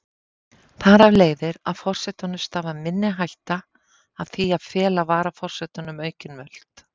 Þar af leiðir að forsetanum stafar minni hætta af því að fela varaforsetanum aukin völd.